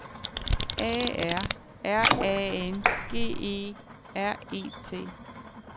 A R R A N G E R E T